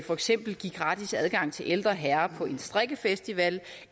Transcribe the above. for eksempel give gratis adgang til ældre herrer på en strikkefestival